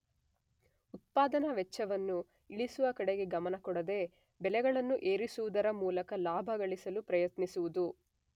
ಉತ್ಪಾದನಾ ವೆಚ್ಚವನ್ನು ಇಳಿಸುವ ಕಡೆಗೆ ಗಮನ ಕೊಡದೆ ಬೆಲೆಗಳನ್ನು ಏರಿಸುವುದರ ಮೂಲಕ ಲಾಭಗಳಿಸಲು ಪ್ರಯತ್ನಿಸುವುದು.